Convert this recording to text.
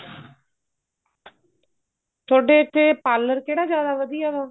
ਥੋਡੇ ਇੱਥੇ parlor ਕਿਹੜਾ ਜਿਆਦਾ ਵਧੀਆ ਵਾ